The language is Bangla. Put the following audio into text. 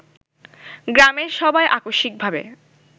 গ্রামের সবাই আকস্মিকভাবে